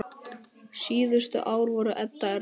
Síðustu ár voru Edda erfið.